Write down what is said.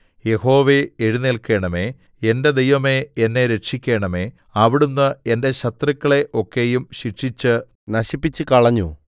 യഹോവേ എഴുന്നേല്ക്കണമേ എന്റെ ദൈവമേ എന്നെ രക്ഷിക്കണമേ അവിടുന്ന് എന്റെ ശത്രുക്കളെ ഒക്കെയും ശിക്ഷിച്ച് നശിപ്പിച്ചുകളഞ്ഞു